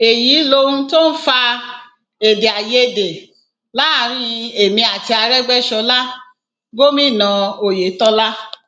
èyí lohun tó ń fa èdè àìyedè láàrin èmi àti aregbèsọlá gómìnà oyetola